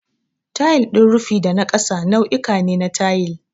Tayil din rufi da na ƙasa nau'uka ne na tayil.